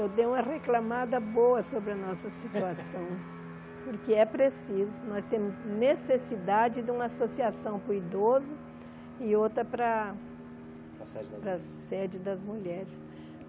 Eu dei uma reclamada boa sobre a nossa situação, porque é preciso, nós temos necessidade de uma associação para o idoso e outra para a sede das mulheres para a sede das mulheres.